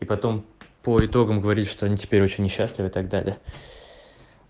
и потом по итогам говорить что они теперь очень несчастливы и так далее